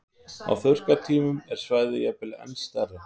Á þurrkatímum er svæðið jafnvel enn stærra.